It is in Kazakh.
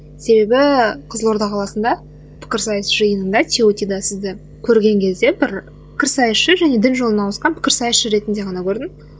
себебі қызылорда қаласында пікірсайыс жиынында сізді көрген кезде бір пікірсайысшы және дін жолына ауысқан пікірсайысшы ретінде ғана көрдім